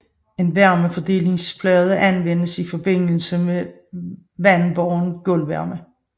En varmefordelingsplade anvendes i forbindelse med vandbåren gulvvarme